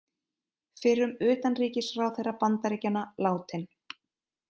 Fyrrum utanríkisráðherra Bandaríkjanna látinn